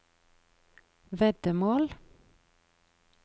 veddemål